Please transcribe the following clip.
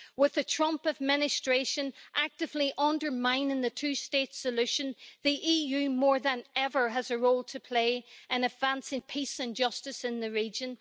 With the Trump Administration actively undermining the two state solution, the EU more than ever has a role to play in advancing peace and justice in the region.